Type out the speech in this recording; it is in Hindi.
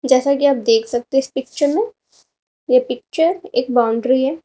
जैसा कि आप देख सकते हैं इस पिक्चर में यह पिक्चर एक बाउंड्री है।